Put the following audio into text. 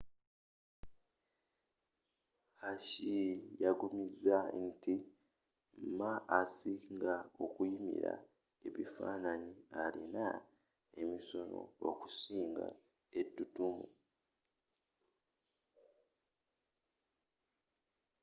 hsieh yaggumiza nti ma asinga okunyimila ebifanaanyi alina emisono okusinga ettutumu